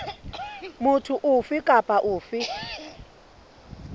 motho ofe kapa ofe a